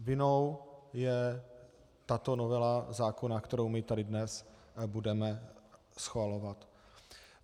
Vinnou je tato novela zákona, kterou my tady dnes budeme schvalovat.